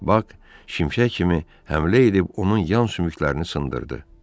Bak şimşək kimi həmlə edib onun yan sümüklərini sındırdı.